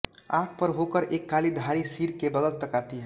आँख पर होकर एक काली धारी सिर के बगल तक आती है